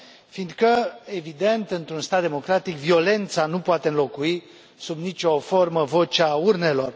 Fiindcă, evident, într un stat democratic, violența nu poate înlocui sub nici o formă vocea urnelor.